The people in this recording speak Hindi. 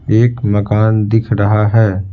एक मकान दिख रहा है।